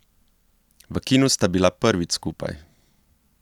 V kinu sta bila prvič skupaj.